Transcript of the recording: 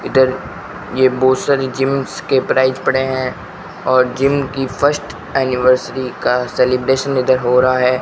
इधर ये बहोत सारी जीम्स के प्राइस पड़े हैं और जिम की फर्स्ट एनिवर्सरी का सेलिब्रेशन इधर हो रहा है।